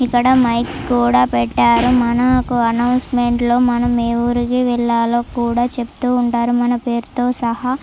ఇక్కడ మైక్స్ కూడా పెట్టారు. మనకు అనౌన్స్మెంట్ లో మనం ఏ ఊరికి వెళ్ళాలో కూడా చెప్తూ ఉంటారు మన పేరుతో సహా --